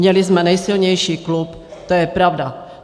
Měli jsme nejsilnější klub, to je pravda.